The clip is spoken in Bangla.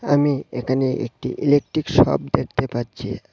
আমি এখানে একটি ইলেকট্রিক শপ দেখতে পাচ্ছি।